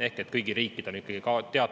Ehk kõigil riikidel on ikkagi